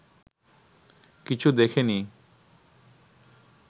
কিছু দেখে নি